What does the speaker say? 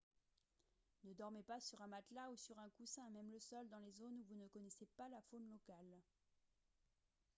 ne dormez pas sur un matelas ou sur un coussin à même le sol dans les zones où vous ne connaissez pas la faune locale